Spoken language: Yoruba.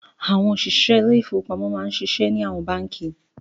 Àwọn òṣìṣẹ́ ilé-ìfowópamọ́ máa n ṣiṣẹ́ ní àwọn báǹkì